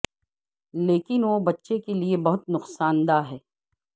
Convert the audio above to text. لیکن وہ بچے کے لئے بہت نقصان دہ ہے